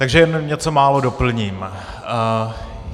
Takže jen něco málo doplním.